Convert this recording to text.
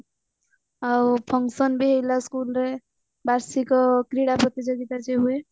ଆଉ function ବି ହେଇଥିଲା school ରେ ବାର୍ଷିକ କ୍ରୀଡା ପ୍ରତିଯୋଗିତା ଯୋଉ ହୁଏ